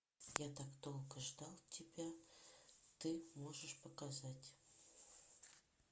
я так долго ждал тебя ты можешь показать